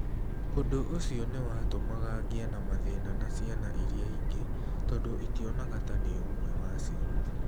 "Ũndũ ũcio nĩ watũmaga ngĩe na mathĩna na ciana iria ingĩ tondũ itionaga ta ndĩ ũmwe wacio.